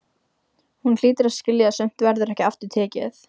Hún hlýtur að skilja að sumt verður ekki aftur tekið.